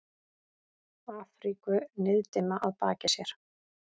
Afríku niðdimma að baki sér.